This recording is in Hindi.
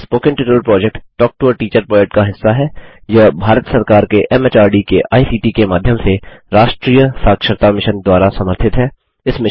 spoken tutorial project talk to a teacher project का हिस्सा है